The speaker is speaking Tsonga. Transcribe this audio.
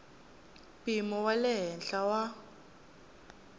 mpimo wa le henhla wa